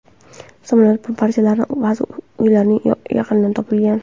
Samolyot parchalari ba’zi uylarning yaqinidan topilgan.